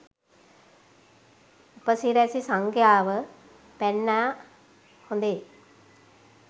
උපසිරැසි සංඛ්‍යාව පැන්නා හොදේ.